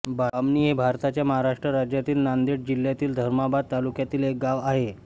बामणी हे भारताच्या महाराष्ट्र राज्यातील नांदेड जिल्ह्यातील धर्माबाद तालुक्यातील एक गाव आहे